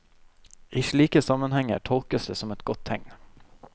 I slike sammenhenger tolkes det som et godt tegn.